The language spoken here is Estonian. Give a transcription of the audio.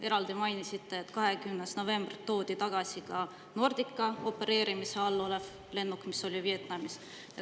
Eraldi mainisite, et 20. novembril toodi tagasi ka Nordica opereerimise all olev lennuk, mis oli Vietnamis.